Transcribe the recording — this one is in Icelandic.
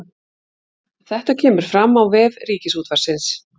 Þetta kemur fram á vef Ríkisútvarpsins